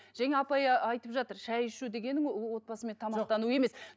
жаңа апай ы айтып жатыр шай ішу дегенің ол отбасымен тамақтану емес